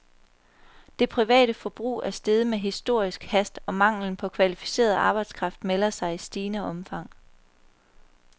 Det private forbrug er steget med historisk hast, og manglen på kvalificeret arbejdskraft melder sig i stigende omfang.